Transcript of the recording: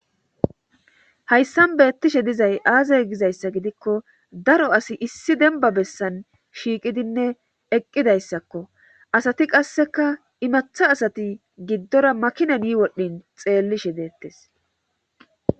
Hayssan beettishe dizay aazay gizayssa gidikko daro asi issi denba bessan shiiqidinne eqqidayssakko asati qasseka imatha asati giddora makina ny wodhin xeellishe deettes.